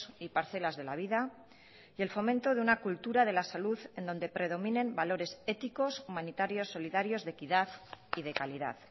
y parcelas de la vida y el fomento de una cultura de la salud en donde predominen valores éticos humanitarios solidarios de equidad y de calidad